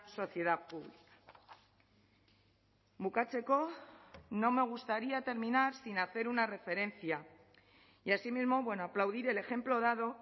sociedad pública bukatzeko no me gustaría terminar sin hacer una referencia y asimismo bueno aplaudir el ejemplo dado